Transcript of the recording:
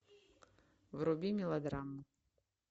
вруби мелодраму